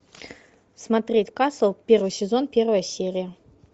смотреть касл первый сезон первая серия